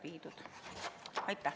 Aitäh!